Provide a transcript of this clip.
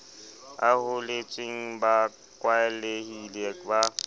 a holetseng ba kwalehile ba